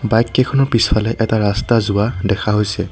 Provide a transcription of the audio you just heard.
বাইককেইখনৰ পিছফালে এটা ৰাস্তা যোৱা দেখা হৈছে।